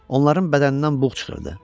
Onların bədənindən buğ çıxırdı.